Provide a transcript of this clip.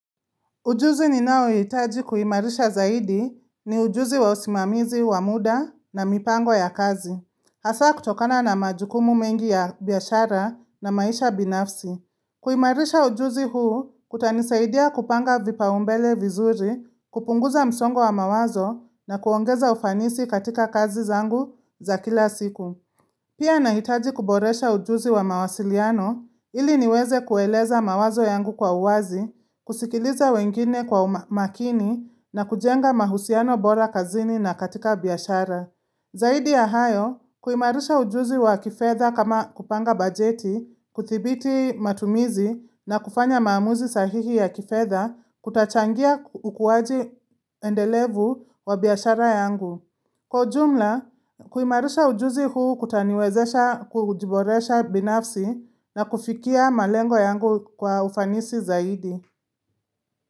Ujuzi ninaohitaji kuimarisha zaidi ni ujuzi wa usimamizi wa muda na mipango ya kazi. Hasa kutokana na majukumu mengi ya biashara na maisha binafsi. Kuimarisha ujuzi huu kutanisaidia kupanga vipaumbele vizuri, kupunguza msongo wa mawazo na kuongeza ufanisi katika kazi zangu za kila siku. Pia nahitaji kuboresha ujuzi wa mawasiliano ili niweze kueleza mawazo yangu kwa uwazi, kusikiliza wengine kwa makini na kujenga mahusiano bora kazini na katika biashara. Zaidi ya hayo, kuimarisha ujuzi wa kifedha kama kupanga bajeti, kudhibiti matumizi na kufanya maamuzi sahihi ya kifedha kutachangia ukuaji endelevu wa biashara yangu. Kwa ujumla, kuimarisha ujuzi huu kutaniwezesha kujiboresha binafsi na kufikia malengo yangu kwa ufanisi zaidi.